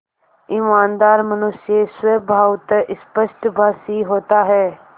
ईमानदार मनुष्य स्वभावतः स्पष्टभाषी होता है